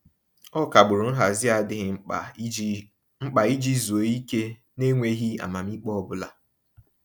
Ọ kagburu nhazị n'adịghị mkpa iji mkpa iji zuo ike n'enweghị amamiikpe ọbụla.